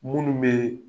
Munnu be